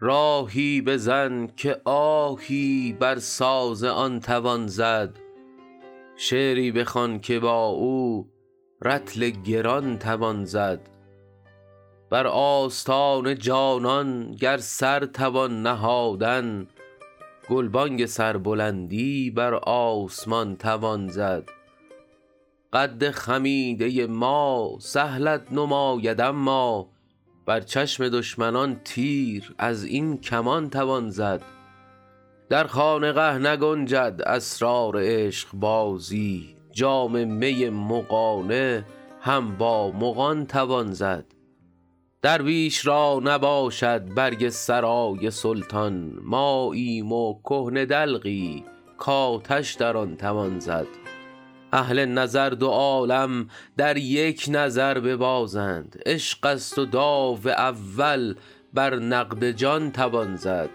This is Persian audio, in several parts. راهی بزن که آهی بر ساز آن توان زد شعری بخوان که با او رطل گران توان زد بر آستان جانان گر سر توان نهادن گلبانگ سربلندی بر آسمان توان زد قد خمیده ما سهلت نماید اما بر چشم دشمنان تیر از این کمان توان زد در خانقه نگنجد اسرار عشقبازی جام می مغانه هم با مغان توان زد درویش را نباشد برگ سرای سلطان ماییم و کهنه دلقی کآتش در آن توان زد اهل نظر دو عالم در یک نظر ببازند عشق است و داو اول بر نقد جان توان زد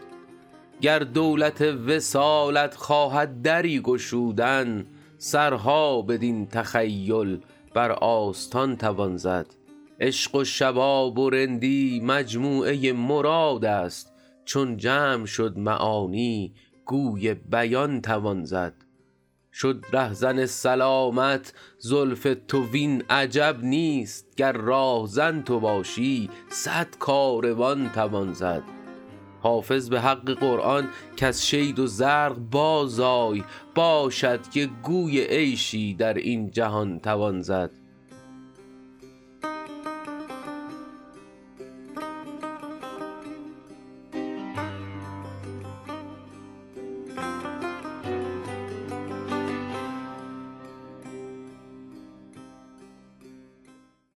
گر دولت وصالت خواهد دری گشودن سرها بدین تخیل بر آستان توان زد عشق و شباب و رندی مجموعه مراد است چون جمع شد معانی گوی بیان توان زد شد رهزن سلامت زلف تو وین عجب نیست گر راهزن تو باشی صد کاروان توان زد حافظ به حق قرآن کز شید و زرق بازآی باشد که گوی عیشی در این جهان توان زد